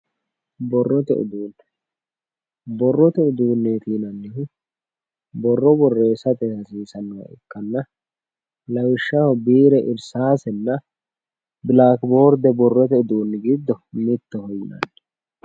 borrote uduunne borrote udunneeti yinannihu borro borreessate horonsi'nanniha ikkanna lawishshaho biire irsaasenna bilaakiborde borrote uduunni giddo mittoho